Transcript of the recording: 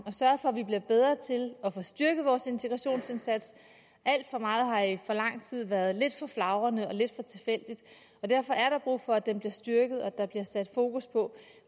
at sørge for at vi bliver bedre til at få styrket vores integrationsindsats alt for meget har i for lang tid været lidt for flagrende og lidt for tilfældigt og derfor er der brug for at den bliver styrket at der bliver sat fokus på